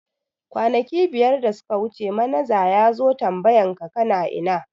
Kwanaki biyar da suka wuce manaja yazo tambayan ka kana ina?